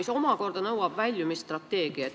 See nõuab väljumisstrateegiat.